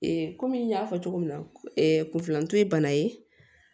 kɔmi n y'a fɔ cogo min na kunfilantu ye bana ye